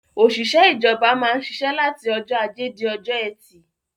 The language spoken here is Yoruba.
Òṣìṣẹ́ ìjọba máa ń ṣiṣẹ́ láti ọjọ́ ajé di ọjọ́ ẹtì.